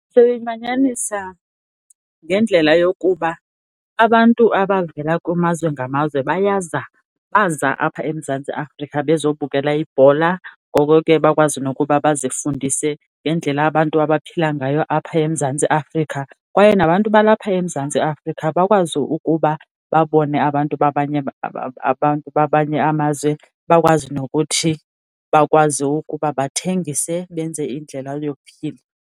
Siyimanyanisa ngendlela yokuba abantu abavela kumazwe ngamazwe bayaza, baza apha eMzantsi Afrika bezobukela ibhola, ngoko ke bakwazi nokuba bazifundise ngendlela abantu abaphila ngayo apha eMzantsi Afrika. Kwaye nabantu balapha eMzantsi Afrika bakwazi ukuba babone abantu babanye abantu babanye amazwe, bakwazi nokuthi bakwazi ukuba bathengise benze indlela yokuphila.